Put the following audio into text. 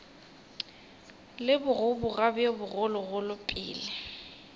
le bogoboga bjo bogologolo pele